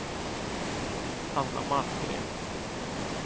Hanna Malmgren